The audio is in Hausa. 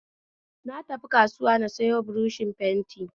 Na tafi kasuwa na sayo buroshin fenti